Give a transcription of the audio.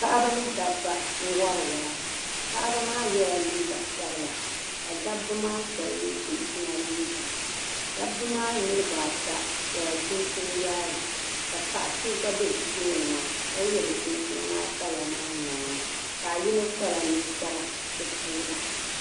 Paɣaba ni dabba. nwari waa paɣibi maa yela liiga sabila kadabi maa shabi ye chinchina liiga . dabi maa niribi ata yela chinchini yaayi. paɣa so gba be bɛ tooni maa ka ye bɛ chinchini maa kala maa noo. paɣa yinɔ kpala ninkpara bɛ puuni.